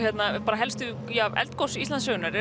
helstu eldgos Íslandssögunnar